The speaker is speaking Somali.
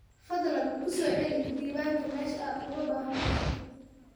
Fadlan ku soo celi diiwaanka meesha aad uga baahan tahay.